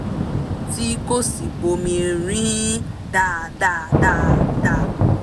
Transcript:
tí kò sì bomi rin ín dáadáa dáadáa